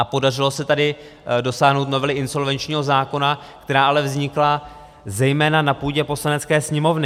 A podařilo se tady dosáhnout novely insolvenčního zákona, která ale vznikla zejména na půdě Poslanecké sněmovny.